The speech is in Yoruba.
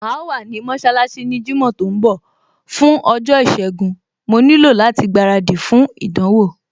Màá wá ní mọṣálásí ní jímọ̀ tó ń bọ̀, fún ọjọ́ ìṣẹgun, mo nílò láti gbaradì fún ìdánwò